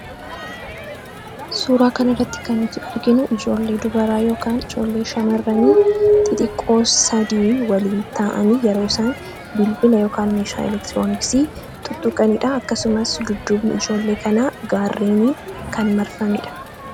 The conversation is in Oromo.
Suuraa kana irratti kan nuti arginu ijoollee dubaraa ( ijoollee shamarranii) xixiqqoo sadii waliin ta'anii yeroo isaan bilbila yookaan meeshaa elektirooniksii tuttuqanii dha. Akkasumas, dudduubni ijoollee kanaa gaarreniin kan marfameedha.